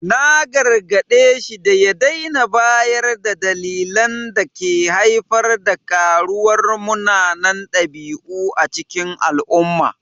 Na gargade shi da ya daina bayar da dalilan da ke haifar da karuwar munanan dabi’u a cikin al’umma.